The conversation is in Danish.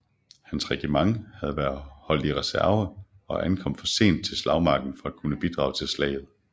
Hans regiment havde været holdt i reserve og ankom for sent til slagmarken til at kunne bidrage til slaget